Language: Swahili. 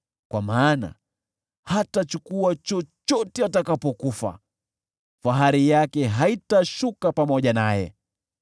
kwa maana hatachukua chochote atakapokufa, fahari yake haitashuka pamoja naye.